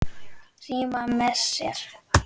Frímann með sér.